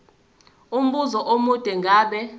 umbuzo omude ngabe